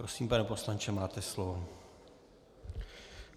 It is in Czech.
Prosím, pane poslanče, máte slovo.